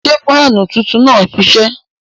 Ṣẹ́ faanú tuntun naá n ṣiṣẹ?